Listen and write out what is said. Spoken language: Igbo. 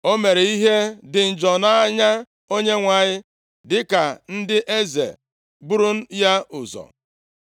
O mere ihe dị njọ nʼanya Onyenwe anyị dịka ndị eze buru ya ụzọ.